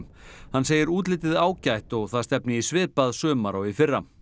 hann segir útlitið ágætt og það stefni í svipað sumar og í fyrra